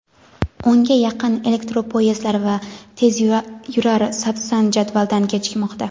o‘nga yaqin elektropoyezdlar va tezyurar "Sapsan" jadvaldan kechikmoqda.